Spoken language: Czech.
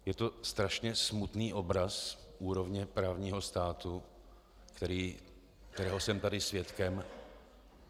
Je to strašně smutný obraz úrovně právního státu, kterého jsem tady svědkem.